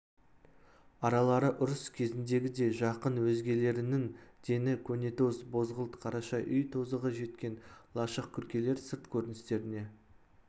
аралары ұрыс кезіндегідей жақын өзгелерінің дені көнетоз бозғылт қараша үй тозығы жеткен лашық күркелер сырт көріністеріне